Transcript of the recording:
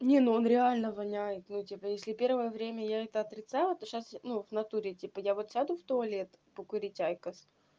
не он реально воняет ну типа если первое время я это отрицала ты сейчас ну в натуре типа я вот сяду в туалет покурить айкос